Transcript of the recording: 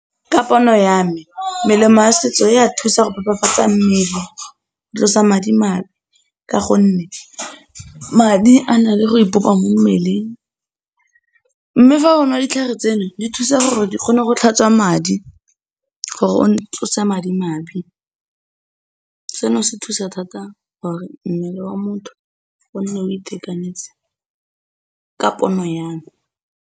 Ka pono ya me, melemo ya setso ya thusa go phephafatsa mmele, go tlosa madimabe ka gonne, madi a na le go ipopa mo mmeleng, mme fa o nwa ditlhare tseno, di thusa gore di kgone go tlhatswa madi, gore o tlose madimabe, seno se thusa thata gore mmele wa motho o nne o itekanetse, ka pono ya me.